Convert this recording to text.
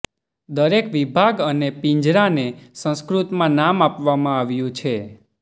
દરેક વિભાગ અને પિંજરાને સંસ્કૃતમાં નામ આપવામાં આવ્યું છે